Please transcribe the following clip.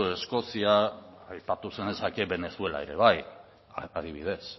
eskozia aipatu zenezake venezuela ere bai adibidez